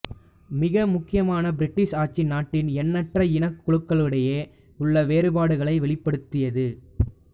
மிக முக்கியமாக பிரிட்டிஷ் ஆட்சி நாட்டின் எண்ணற்ற இனக் குழுக்களிடையே உள்ள வேறுபாடுகளை வெளிப்படுத்தியது